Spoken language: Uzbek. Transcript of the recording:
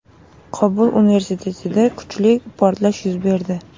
Qobul universitetida kuchli portlash yuz berdi.